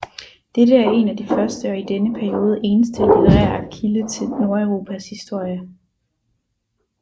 Dette er en af de første og i denne periode eneste litterære kilde til Nordeuropas historie